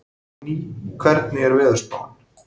Fanný, hvernig er veðurspáin?